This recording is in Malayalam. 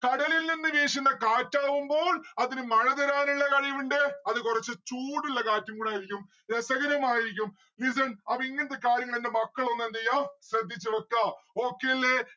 കടലിൽനിന്ന് വീശുന്ന കാറ്റാവുമ്പോൾ അതിന് മഴ തരാനിള്ള കഴിവിണ്ട്. അത് കൊറച്ചു ചൂടുള്ള കാറ്റും കൂടെ ആയിരിക്കും രസകരമായിരിക്കും listen അപ്പോ ഇങ്ങനത്തെ കാര്യങ്ങള് എന്റെ മക്കളൊന്ന് എന്തെയ്യാ ശ്രദ്ധിച്ച് വെക്കാ okay അല്ലെ